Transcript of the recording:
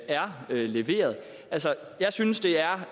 er leveret altså jeg synes det er